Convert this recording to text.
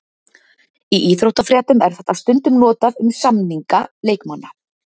Í íþróttafréttum er þetta stundum notað um samninga leikmanna.